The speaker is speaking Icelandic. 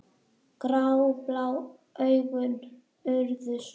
Gráblá augun urðu svört.